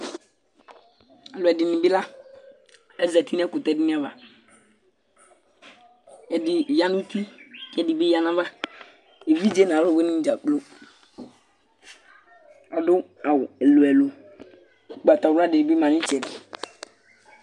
Alʋɛdìní bi la Azɛti nʋ ɛkutɛ dìní ava Ɛdí ya nʋ ʋti ɛdi bi ya nʋ ava Evidze nʋ alʋwìní dza kplo Adu awu ɛlu ɛlu Ugbatawla di bi ma nu itsɛdi